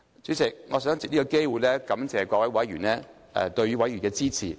主席，我想藉此機會感謝各位議員對委員會的支持。